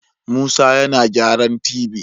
Musa yana gyaran tv